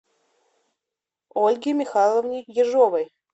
ольге михайловне ежовой